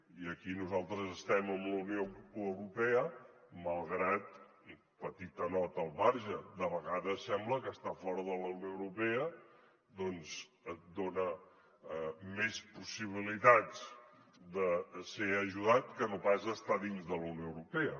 i aquí nosaltres estem amb la unió europea malgrat petita nota al marge de vegades sembla que estar fora de la unió europea et dona més possibilitats de ser ajudat que no pas estar a dins de la unió europea